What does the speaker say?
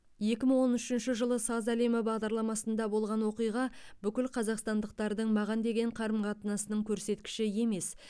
екі мың он үшінші жылы саз әлемі бағдарламасында болған оқиға бүкіл қазақстандықтардың маған деген қарым қатынасының көрсеткіші емес